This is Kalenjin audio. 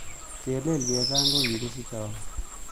Chelele chesang' ko kikisichei au